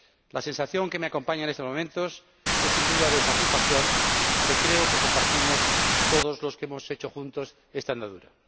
La sensación que me acompaña en estos momentos es, sin duda, de satisfacción, que creo que la compartimos todos los que hemos hecho juntos esta andadura.